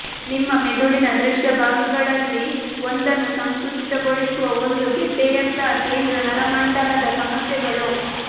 ನಿಮ್ಮ ಮೆದುಳಿನ ದೃಶ್ಯ ಭಾಗಗಳಲ್ಲಿ ಒಂದನ್ನು ಸಂಕುಚಿತಗೊಳಿಸುವ ಒಂದು ಗೆಡ್ಡೆಯಂತಹ ಕೇಂದ್ರ ನರಮಂಡಲದ ಸಮಸ್ಯೆಗಳು